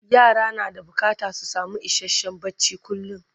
yara na da bukatan su samu isasshen barci kullum